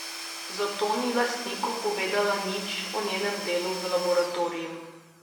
Zato ni lastniku povedala nič o njenem delu v laboratoriju.